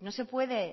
no se puede